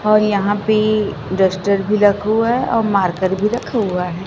और यहाँ पे डस्टर भी रखा हुआ है और मार्कर भी रखा हुआ है।